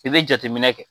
I bɛ jateminɛ kɛ